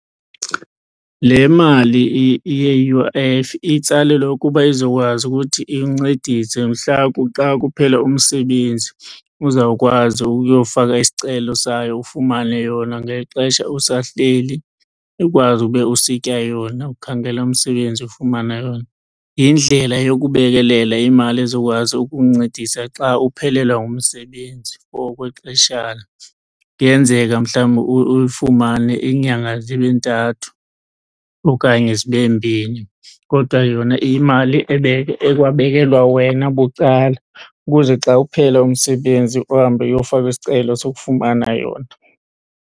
Le mali ye-U_I_F itsalelwa ukuba izokwazi ukuthi incedise mhla xa kuphela umsebenzi uzawukwazi ukuyowufaka isicelo sayo ufumane yona ngexesha usahleli ukwazi ube usitya yona, ukhangela umsebenzi ufumana yona. Yindlela yokubekelela imali ezokwazi ukukuncedisa xa uphelelwa ngumsebenzi for okwexeshana. Kuyenzeka mhlawumbi uyifumane iinyanga zibe ntathu okanye zibe mbini. Kodwa yona iyimali ekwabekelwa wena bucala ukuze xa uphela umsebenzi uhambe uyofaka isicelo sokufumana yona.